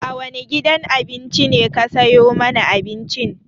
A wane gidan abinci ne ka sayo mana abincin?